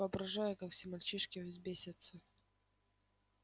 воображаю как все мальчишки взбесятся